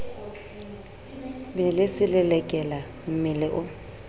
be le selelekela mmele o